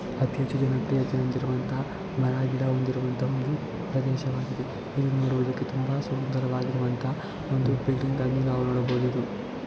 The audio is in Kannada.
ಅತಿ ಹೆಚ್ಚು ಹಚ್ಚ ಹಸಿರು ಆಗಿರುವಂತಹ ಮರ ಗಿಡಗಳು ಹೊಂದಿರುವಂತಹ ಒಂದು ಪ್ರದೇಶವಾಗಿದೆ ಇಲ್ಲಿ ನೋಡೋದಕ್ಕೆ ತುಂಬಾ ಸುಂದರವಾಗಿರುವಂತಹ ಒಂದು ಬಿಲ್ಡಿಂಗ್ ಗಳನ್ನು ನಾವು ನೋಡಬಹುದು .